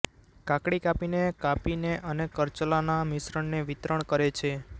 કાકડી કાપીને કાપીને અને કરચલાના મિશ્રણને વિતરણ કરે છે